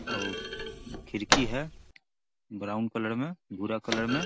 अउ खिड़की है ब्राउन कलर में भुरा कलर में|